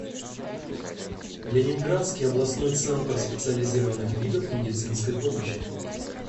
ленинградский областной центр специализированных видов медицинской помощи